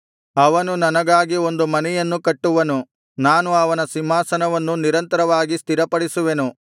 ಅವನು ನನಗಾಗಿ ಒಂದು ಮನೆಯನ್ನು ಕಟ್ಟುವನು ನಾನು ಅವನ ಸಿಂಹಾಸನವನ್ನು ನಿರಂತರವಾಗಿ ಸ್ಥಿರಪಡಿಸುವೆನು